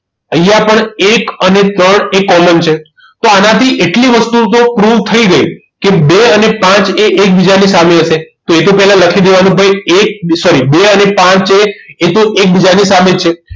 અહીંયા પણ એક અને ત્રણ એ common છે તો આનાથી એટલી વસ્તુ તો proof થઈ ગઈ કે બે અને પાંચ એ એકબીજાની સામે હશે તો એ તો પહેલા લખી દેવાનું ભાઈ એક sorry બે અને પાંચ એ એ તો એકબીજાની સામે જ છે